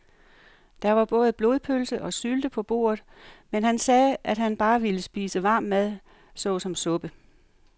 Der var både blodpølse og sylte på bordet, men han sagde, at han bare ville spise varm mad såsom suppe.